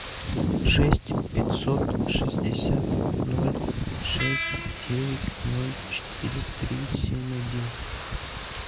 шесть пятьсот шестьдесят ноль шесть девять ноль четыре три семь один